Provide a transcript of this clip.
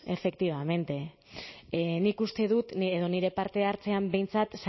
efectivamente nik uste dut edo nire parte hartzean behintzat